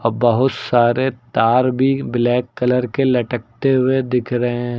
बहुत सारे तार भी ब्लैक कलर के लटकते हुए दिख रहे--